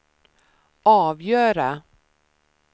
avgöra